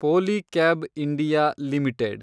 Polycab India limited